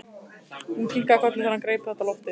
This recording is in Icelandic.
Hún kinkaði kolli þegar hann greip þetta á lofti.